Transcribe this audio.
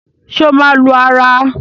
ṣe o má lù ara?